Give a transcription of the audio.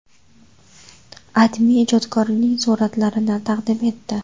AdMe ijodkorning suratlarini taqdim etdi .